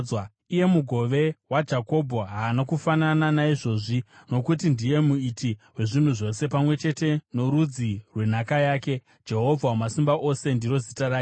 Iye Mugove waJakobho haana kufanana naizvozvi, nokuti ndiye Muiti wezvinhu zvose, pamwe chete norudzi rwenhaka yake, Jehovha Wamasimba Ose ndiro zita rake.